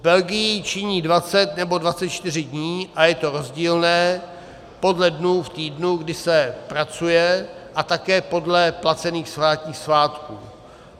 V Belgii činí 20 nebo 24 dní a je to rozdílné podle dnů v týdnu, kdy se pracuje, a také podle placených státních svátků.